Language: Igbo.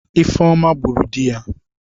Ifeoma gburu di ya.